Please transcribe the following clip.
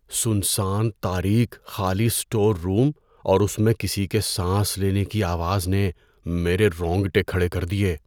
سنسان تاریک خالی اسٹور روم اور اس میں کسی کے سانس لینے کی آواز نے میرے رونگٹے کھڑے کر دیے۔